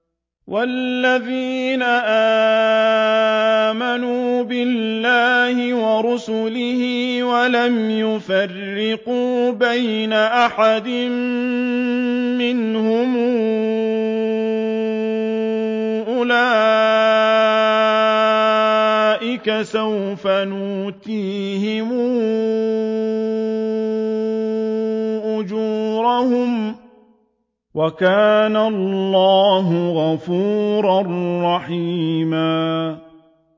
وَالَّذِينَ آمَنُوا بِاللَّهِ وَرُسُلِهِ وَلَمْ يُفَرِّقُوا بَيْنَ أَحَدٍ مِّنْهُمْ أُولَٰئِكَ سَوْفَ يُؤْتِيهِمْ أُجُورَهُمْ ۗ وَكَانَ اللَّهُ غَفُورًا رَّحِيمًا